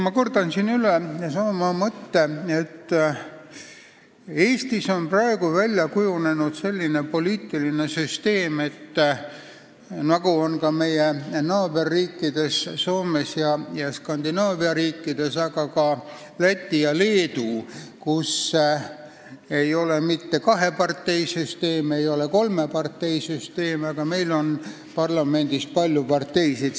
Ma kordan siin üle sama mõtte, et Eestis on praegu välja kujunenud selline poliitiline süsteem, nagu on ka meie naaberriikides Soomes ja Skandinaavia riikides, aga ka Lätis ja Leedus, et ei ole mitte kaheparteisüsteem, ei ole kolmeparteisüsteem, vaid parlamendis on palju parteisid.